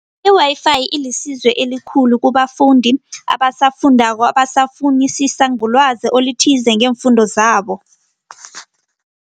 I-Wi-Fi ilisizo elikhulu kubafundi abasafundako, abasafunisisa ngolwazi olithize ngeemfundo zabo.